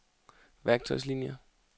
værktøjslinier